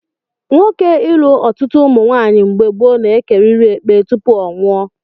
Nwoke ilu ọtụtụ ụmụnwaanyị mgbe gboo na-ekerịrị ekpe tupu ọ nwụọ